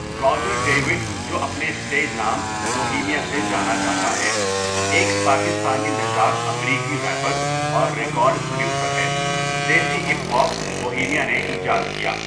Roger David جو اپنے stage نام بوہیمیا سے جانا جاتا ہے، ایک پاکستانی نژاد امریکی ریپر اور ریکارڈ پروڈوسر ہے دیسی ہپ ہاپ بوہیمیا نے ایجاد کیا.